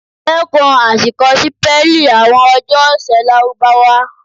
Dẹ́kùn àṣìkọ sípẹ́lì àwọn ọjọ́ ọ̀sẹ̀ Lárúbáwá.